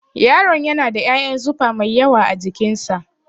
Yaron yana da ƴaƴan zufa mai yawa a jikin sa